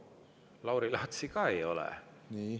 Lauri Laatsi ka ei ole.